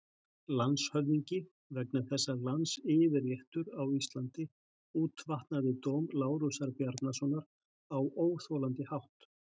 LANDSHÖFÐINGI: Vegna þess að landsyfirréttur á Íslandi útvatnaði dóm Lárusar Bjarnasonar á óþolandi hátt.